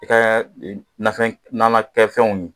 I ka nafɛn nanakɛfɛnw